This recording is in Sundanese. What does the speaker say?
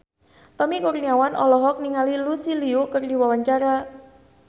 Tommy Kurniawan olohok ningali Lucy Liu keur diwawancara